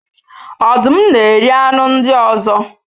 Ọdụm na-eri anụ ndị ọzọ